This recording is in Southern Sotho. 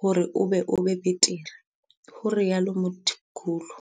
hore e be bo betere," ho rialo Mthimkhulu.